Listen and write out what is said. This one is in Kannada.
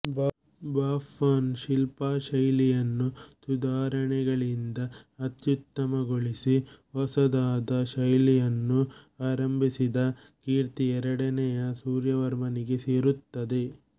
ಬಾಫುವಾನ್ ಶಿಲ್ಪಶೈಲಿಯನ್ನು ಸುಧಾರಣೆಗಳಿಂದ ಅತ್ಯುತ್ತಮಗೊಳಿಸಿ ಹೊಸದಾದ ಶೈಲಿಯನ್ನು ಆರಂಭಿಸಿದ ಕೀರ್ತಿ ಎರಡನೆಯ ಸೂರ್ಯವರ್ಮನಿಗೆ ಸೇರುತ್ತದೆ